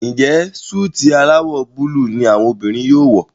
Njé Súìtì alawọ Búlúù ní àwọn obìrin yóò wọ?